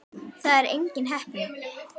Það er engin heppni.